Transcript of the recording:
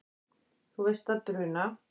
Þú veist að bruna